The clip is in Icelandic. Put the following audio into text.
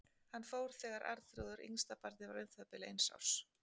Hann fór þegar Arnþrúður, yngsta barnið, var um það bil eins árs.